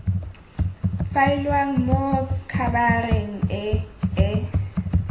faeliwang mo khabareng e e